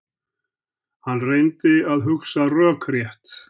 Hann reyndi að hugsa rökrétt.